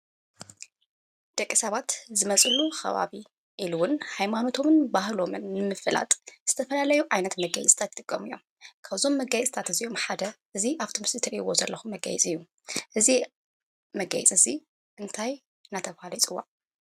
ደቂ ሰባት ዝመፅሉ ኸባቢ ኢሊ’ውን ሃይማኖቶምን ባህሎምን ንምፍላጥ ዝተፈላለዩ ዓይነት መጋየፂታት ይጥቀሙ እዮም፡፡ ካብዞም መጋየፂታት እዚኦም ሓደ እዚ አብቲ ምስሊ እትሪኢዎ ዘለኩም መጋየፂ እዩ፡፡ እዚ መጋየፂ እዚ እንታይ እናተብሃለ ይፅዋዕ?